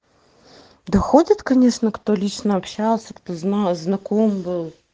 доходит конечно кто лично общался кто знал знаком был